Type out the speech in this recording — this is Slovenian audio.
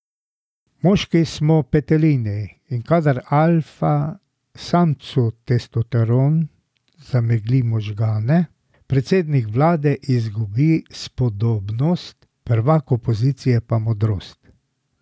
Moški smo petelini, in kadar alfa samcu testosteron zamegli možgane, predsednik vlade izgubi spodobnost, prvak opozicije pa modrost.